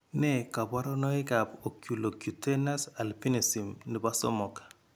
Nee kabarunoikab Oculocutaneous albinism nebo somok?